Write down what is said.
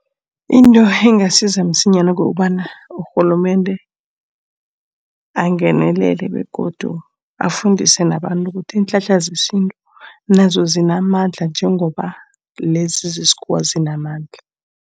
Into engasiza msinyana kukobana. Urhulumende angenelele begodu afundise nabantu ukuthi iinhlahla zesintu nazo zinamandla, njengoba lezi zesikhuwa zinamandla.